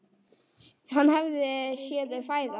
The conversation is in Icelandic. Hann hafði séð þau fæðast.